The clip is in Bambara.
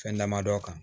Fɛn damadɔ kan